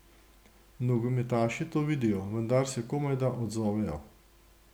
Nogometaši to vidijo, vendar se komajda odzovejo.